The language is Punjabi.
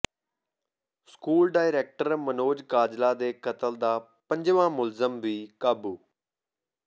ਸਕੂਲ ਡਾਇਰੈਕਟਰ ਮਨੋਜ ਕਾਜਲਾ ਦੇ ਕਤਲ ਦਾ ਪੰਜਵਾਂ ਮੁਲਜ਼ਮ ਵੀ ਕਾਬੂ